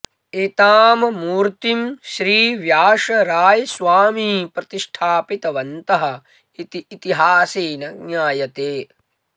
एतां मूर्तिं श्री व्यासरायस्वामी प्रतिष्ठापितवन्तः इति इतिहासेन ज्ञायते